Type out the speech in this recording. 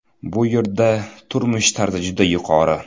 Bu yerda turmush tarzi juda yuqori.